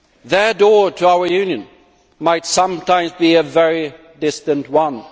Their door to our Union might sometimes be a very distant one.